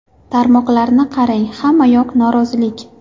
Tarmoqlarni qarang, hamma yoq norozilik.